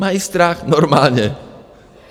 Mají strach normálně.